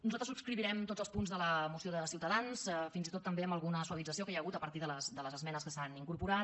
nosaltres subscriurem tots els punts de la moció de ciutadans fins i tot també amb alguna suavització que hi ha hagut a partir de les esmenes que s’hi han incorporat